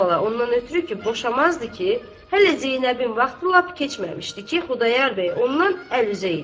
Əvvəla ondan ötrü ki, boşamazdı ki, hələ Zeynəbin vaxtı lap keçməmişdi ki, Xudayar bəy ondan əl üzə idi.